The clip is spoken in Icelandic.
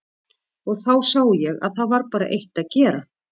Og þá sá ég að það var bara eitt að gera.